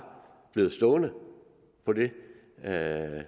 blevet stående på det